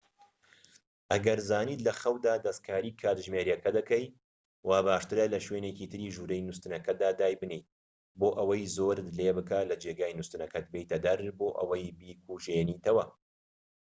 ئەگەر زانیت لە خەودا دەستکاری کاتژمێرەکە دەکەیت وا باشترە لە شوێنێکی تری ژووری نوستنەکەتدا دای بنێیت بۆ ئەوەی زۆرت لێبکات لە جێگەی نوستنەکەت بێیتە دەر بۆ ئەوەی بیکوژێنیتەوە